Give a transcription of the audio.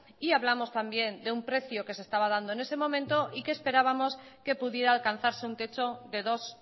y hablamos también de un precio que se estaba dando en ese momento y que esperábamos que pudiera alcanzarse un techo de dos